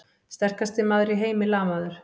Sterkasti maður í heimi lamaður!